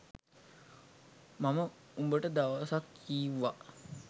මම උඹට දවසක් කිව්වා